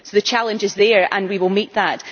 So the challenge is there, and we will meet it.